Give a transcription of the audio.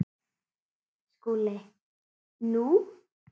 SKÚLI: Nú?